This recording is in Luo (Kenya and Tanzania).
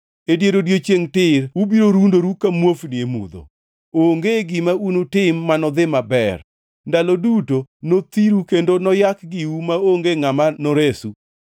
E dier odiechiengʼ tir ubiro rundoru ka muofni e mudho. Onge gima unutim manodhi maber, ndalo duto nothiru kendo noyak giu maonge ngʼama noresu.